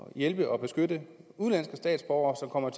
at hjælpe og beskytte udenlandske statsborgere som kommer